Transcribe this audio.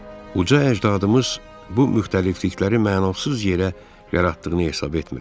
Uca əcdadımız bu müxtəliflikləri mənasız yerə yaratdığını hesab etmirəm.